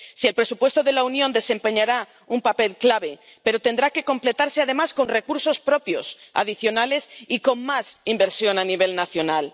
Sí, el presupuesto de la Unión desempeñará un papel clave, pero tendrá que completarse además con recursos propios adicionales y con más inversión a nivel nacional.